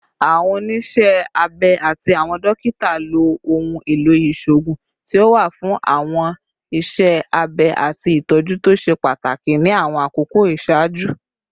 Awọn oniṣẹ abẹ ati awọn dokita lo ohun elo iṣoogun ti o wa fun awọn iṣẹ abẹ ati itọju to ṣe pataki ni awọn akoko iṣaaju